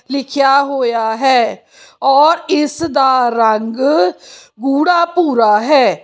ਲਿਖਿਆ ਹੋਇਆ ਹੈ ਔਰ ਇਸ ਦਾ ਰੰਗ ਗੂੜਾ ਭੂਰਾ ਹੈ।